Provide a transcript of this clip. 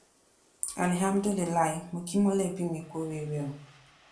alihámúdùlùilàá mọ kí mọlẹbí mi kú oríire o